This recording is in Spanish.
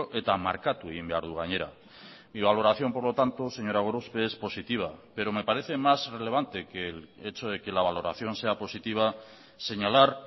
eta markatu egin behar du gainera mi valoración por lo tanto señora gorospe es positiva pero me parece más relevante que el hecho de que la valoración sea positiva señalar